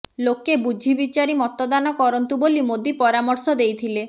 ଲୋକେ ବୁଝିବିଚାରି ମତଦାନ କରନ୍ତୁ ବୋଲି ମୋଦୀ ପରାମର୍ଶ ଦେଇଥିଲେ